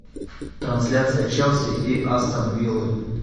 трансляция челси и астон виллы